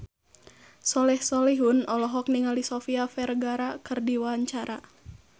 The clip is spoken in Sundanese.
Soleh Solihun olohok ningali Sofia Vergara keur diwawancara